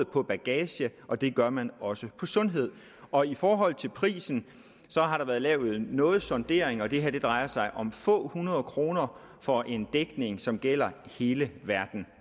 på bagage og det gør man også på sundhed og i forhold til prisen har der været lavet noget sondering og det her drejer sig om få hundrede kroner for en dækning som gælder hele verden